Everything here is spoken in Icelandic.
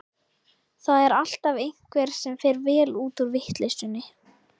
Það er alltaf einhver sem fer vel út úr vitleysunni.